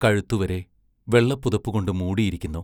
കഴുത്തുവരെ വെള്ളപ്പുതപ്പു കൊണ്ടു മൂടിയിരിക്കുന്നു.